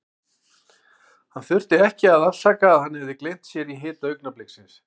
Hann þurfti ekki að afsaka að hann hafði gleymt sér í hita augnabliksins.